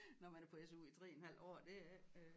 Nå man er på SU i 3 en halv år det er ikke øh